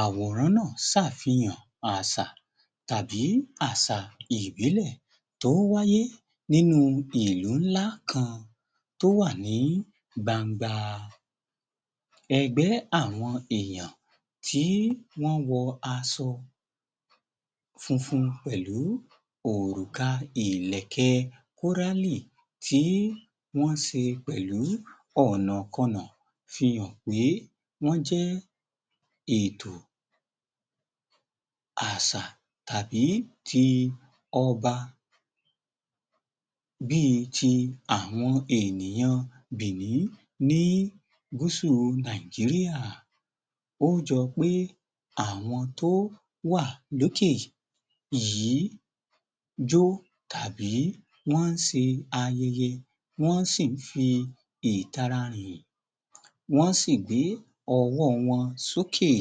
Àwòrán náà ṣàfihàn àṣà tàbí àṣà ìbílẹ̀ tó wáyé nínú ìlú ńlá kan tó wà ní gbangba. Ẹgbẹ́ àwọn èèyàn tí wọ́n wọ aṣọ funfun pẹ̀lú òrùka ìlẹ̀kẹ̀ kórálì tí wọ́n ṣe pẹ̀lú ọ̀nàkọnà fihàn pé wọ́n jẹ́ ètò, àṣà tàbí ti ọba bíi ti àwọn ènìyàn bìní ní gúúsù Nàìjíríà. Ó ń jọ pé àwọn tó wà lókè yìí jó tàbí wọ́n ń ṣe ayẹyẹ, wọ́n sì ń fi ìtara rìn, wọ́n sì gbé ọwọ́ wọn sókè.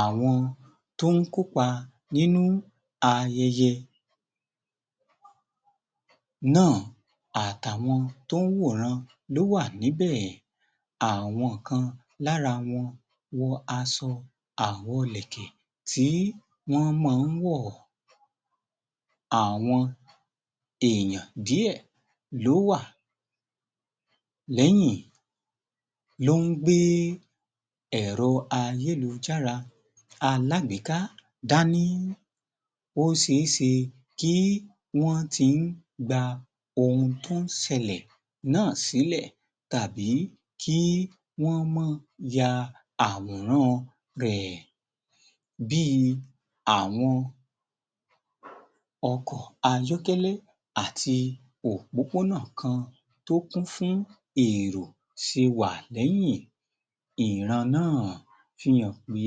Àwọn tó ń kópa nínú ayẹyẹ náà àtàwọn tó ń wòran ló wà níbẹ̀. Àwọn kan lára wọn wọ aṣọ àwọn ìlẹ̀kẹ̀ tí wọ́n máa ń wọ̀. Àwọn èèyàn díẹ̀ ló wà lẹ́yìn lọ ń gbé ẹ̀rọ ayélujára alágbèéká dáni. Ó ṣe é ṣe kí wọ́n ti ń gba ohun tó ń sẹlẹ̀ náà sílẹ̀ tàbí kí wọ́n máa ya àwòrán rẹ̀ bí i àwọn ọkọ̀ ayọ́kẹ́lẹ́ àti òpópónà kan tó kún fún èrò ṣe wà lẹ́yìn ìran náà fi hàn pé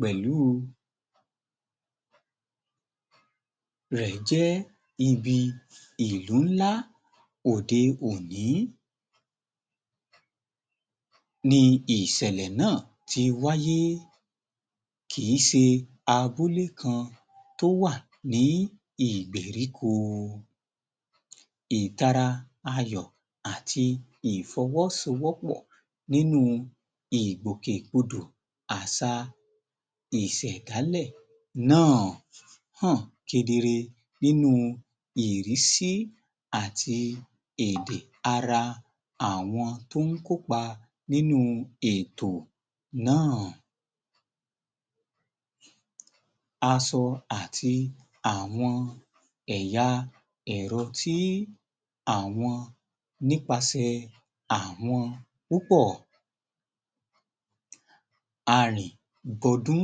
pẹ̀lú rẹ̀ jẹ́ ibi ìlú ńlá òde òní ni ìṣẹ̀lẹ̀ náà ti wáyé, kì í ṣe abúlé kan tó wà ní ìgberíko. Ìtara ayọ̀ àti ìfọwọ́sowọ́pọ̀ nínú ìgbòkègbodò àṣà ìṣẹ̀dálẹ̀ náà hàn kedere nínú ìrísí àti èdè ara àwọn tó ń kópa nínú ètò náà. Aṣọ àti àwọn ẹ̀yà ẹ̀rọ tí àwọn nípasẹ̀ àwọn púpọ̀ arìngọdún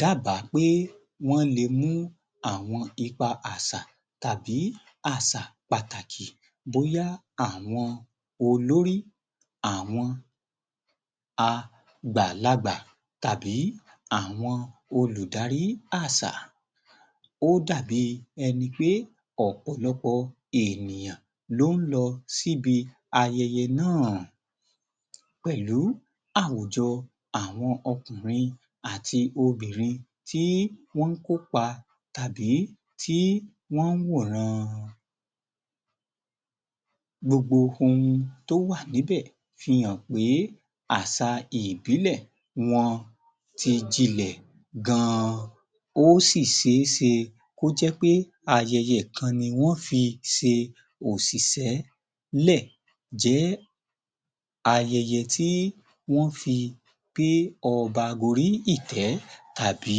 dábàá pé wọ́n lè mú àwọn ipa àṣà tàbí àṣà pàtàkì bóyá àwọn olórí àwọn àgbàlagbà tàbí àwọn olùdarí àṣà. Ó dàbí ẹni pé ọ̀pọ̀lọpọ̀ ènìyàn ló ń lọ síbi ayẹyẹ náà pẹ̀lú àwùjọ àwọn ọkùnrin àti obìnrin tí wọ́n ń kópa tàbí tí wọ́n ń wòran. Gbogbo ohun tó wà níbẹ̀ fihàn pé, àṣà ìbílẹ̀ wọn ti jinlẹ̀ gan. Ó sì ṣe é ṣe kó jẹ́ pé ayẹyẹ kan ni wọ́n fi ṣe òṣìṣẹ́ lẹ̀ jẹ́ àyẹyẹ tí wọ́n fi gbé ọba gorí ìtẹ́ tàbí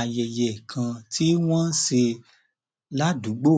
ayẹye kan tí wọ́n ń ṣe ládùúgbò